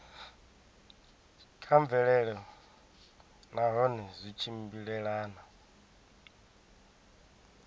kha mvelelo nahone zwi tshimbilelana